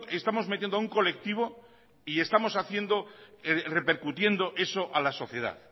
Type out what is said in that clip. estamos metiendo a un colectivo y estamos haciendo repercutiendo eso a la sociedad